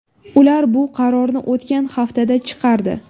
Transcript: Ular bu qarorni o‘tgan haftada chiqardi.